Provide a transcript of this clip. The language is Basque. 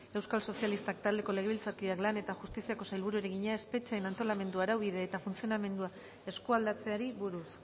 euskal sozialistak taldeko legebiltzarkideak lan eta justiziako sailburuari egina espetxeen antolamendu araubide eta funtzionamendua eskualdatzeari buruz